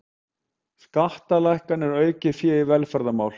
Skattalækkanir og aukið fé í velferðarmál